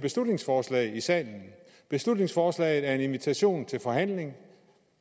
beslutningsforslag i salen et beslutningsforslag er en invitation til forhandling